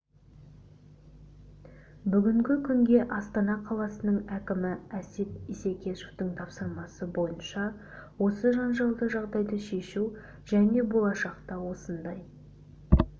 бүгінгі күнге астана қаласының әкімі әсет исекешевтің тапсырмасы бойынша осы жанжалды жағдайды шешу және болашақта осындай